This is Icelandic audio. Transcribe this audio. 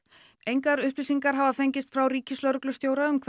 engar upplýsingar hafa fengist frá ríkislögreglustjóra um